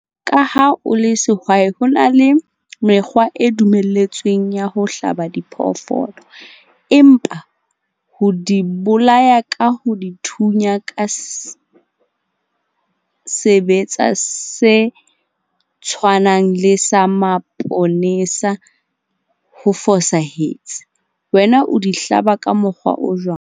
Ka ha o le sehwai, ho na le mekgwa e dumelletsweng ya ho hlaba diphoofolo, empa ho di bolaya ka ho dithunya ka sebetsa se tshwanang le sa maponesa ho fosahetse. Wena o di hlaba ka mokgwa o jwang?